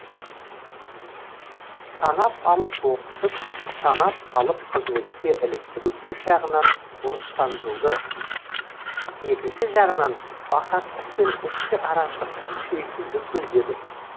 санап алып оқытып санап алып қызметке іліктіру бір жағынан орыстандыруды екінші жағынан бақастык пен ішкі араздыкты күшейтуді көздеді